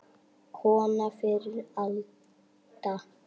Kona fyrri alda.